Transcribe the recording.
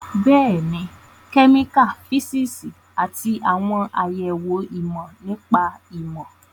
Bẹ́ẹ̀ni, kẹ́míkà, físíìsì, àti àwọn àyẹ̀wò ìmọ̀ nípa ìmọ̀